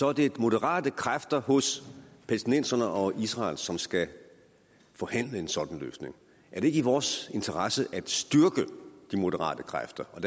er det moderate kræfter hos palæstinenserne og israel som skal forhandle en sådan løsning er det ikke i vores interesse at styrke de moderate kræfter og